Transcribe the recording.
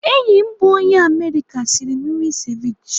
Enyi m bụ onye Amerịka sịrị m nri seviche.